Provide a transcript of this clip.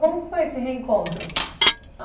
Como foi esse reencontro?